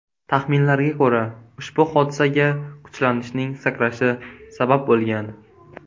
Taxminlarga ko‘ra, ushbu hodisaga kuchlanishning sakrashi sabab bo‘lgan.